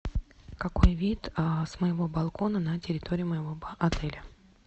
какой вид с моего балкона на территории моего отеля